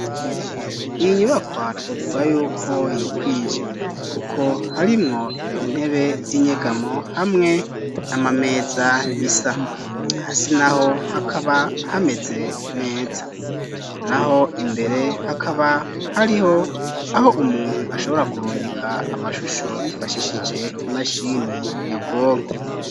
Iyi nyubakwa twovuga yuko yikwije, kuko harimwo intebe z'inyegamo hamwe n'amameza bisa hasi na ho hakaba hameze neza na ho imbere hakaba hariho aho umuntu ashobora kurungika amashusho yifashishije imashini nyabwonko.